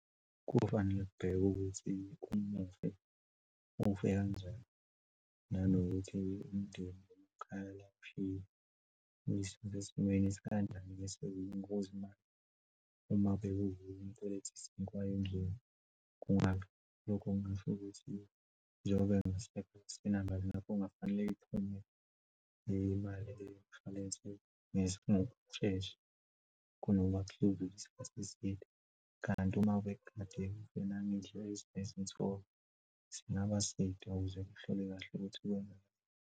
Kufanele kubhekwe ukuthi umufi ufe kanjani, nanokuthi umndeni uqhala . Uwushiye esimeni esikanjani ngokwezimali uma bekuvele . Kungaba lokho kungasho ukuthi njengoba ngingasebenzisa inamba, ngakho kungafanele iphume imali le yomushwalense ngesinye ngokushesha kunokuba kuhluke isikhathi eside. Kanti uma ube kade nangendlela ezinye nezinsolo, singaba side ukuze uhlole kahle ukuthi .